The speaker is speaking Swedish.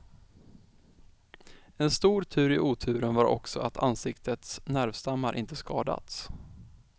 En stor tur i oturen var också att ansiktets nervstammar inte skadats.